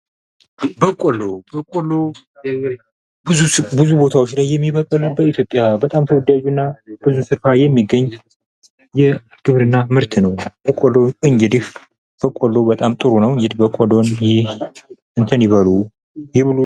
በቆሎ፦ በቆሎ ብዙ ቦታዎች ላይ የሚበቅል በኢትዮጵያ በጣም ተወዳጅና የሚገኝ የግብርና ምር ትነው። በቆሎ እንግዲህ በቆሎ በጣም ጥሩ ነው። በቆሎ እንግድህ እንትን ይበሉ።